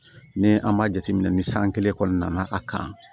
Ni an ma jateminɛ ni san kelen kɔni nana a kan